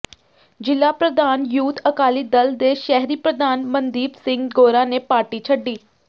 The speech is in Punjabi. ਜ਼ਿਲ੍ਹਾ ਪ੍ਰਧਾਨ ਯੂਥ ਅਕਾਲੀ ਦਲ ਦੇ ਸ਼ਹਿਰੀ ਪ੍ਰਧਾਨ ਮਨਦੀਪ ਸਿੰਘ ਗੋਰਾ ਨੇ ਪਾਰਟੀ ਛੱਡੀ